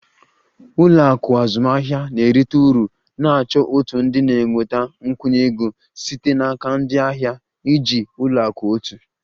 Ụlọ akụ azụmahịa na-erite uru na-achọ òtù ndị na-enweta nkwụnye ego site n'aka ndị ahịa e.g ụlọ akụ otu